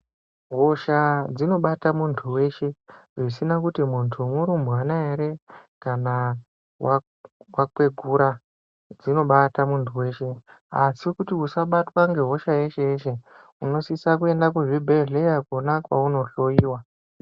Hosha dzinobate muntu weshe zvisinakuti muntu murumbwana here kana wakwegura dzinobata muntu weshe asikuti usabatwa ngehosha yeshe yeshe unosisa kuenda kuzvibhehlerakona kounohloyiwa